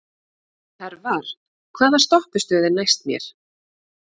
Hervar, hvaða stoppistöð er næst mér?